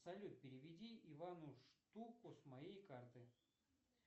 салют переведи ивану штуку с моей карты